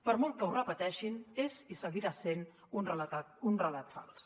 per molt que ho repeteixin és i seguirà sent un relat fals